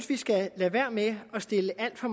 vi skal lade være med at stille alt for